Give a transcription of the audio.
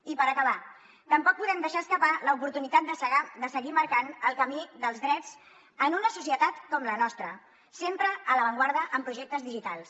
i per acabar tampoc podem deixar escapar l’oportunitat de seguir marcant el camí dels drets en una societat com la nostra sempre a l’avantguarda en projectes digitals